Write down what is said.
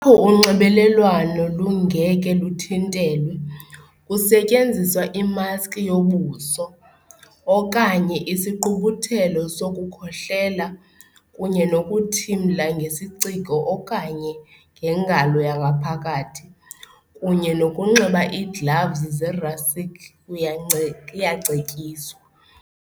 Apho unxibelelwano lungekhe luthintelwe, kusetyenziswa imaski yobuso, okanye isigqubuthelo sokukhohlela kunye nokuthimla ngesiciko okanye ngengalo yangaphakathi, kunye nokunxiba iigloves zerhasix uyance iyacetyiswa.